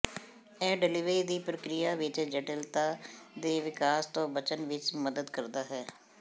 ਇਹ ਡਿਲਿਵਰੀ ਦੀ ਪ੍ਰਕਿਰਿਆ ਵਿਚ ਜਟਿਲਤਾ ਦੇ ਵਿਕਾਸ ਤੋਂ ਬਚਣ ਵਿਚ ਮਦਦ ਕਰਦਾ ਹੈ